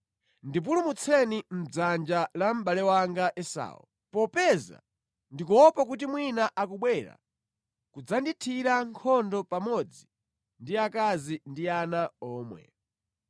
Ndipulumutseni mʼdzanja la mʼbale wanga Esau, popeza ndikuopa kuti mwina akubwera kudzandithira nkhondo pamodzi ndi akazi ndi ana omwe.